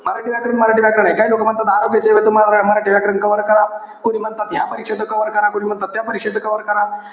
मराठी व्याकरण, मराठी व्याकरणे. काही लोकं म्हणतात आरोग्य सेवेच माझं मराठी व्याकरण cover करा. कोणी म्हणत या परीक्षेचं cover करा.